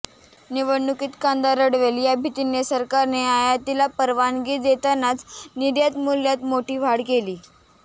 निवडणुकीत कांदा रडवेल या भीतीने सरकारने आयातीला परवानगी देतानाच निर्यातमूल्यात मोठी वाढ केली